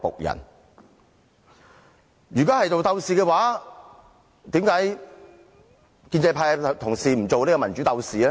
如果是鬥士的話，為甚麼建制派的同事不做民主鬥士？